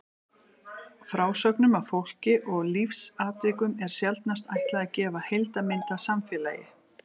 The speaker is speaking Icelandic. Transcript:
Frásögnum af fólki og lífsatvikum er sjaldnast ætlað að gefa heildarmynd af samfélagi.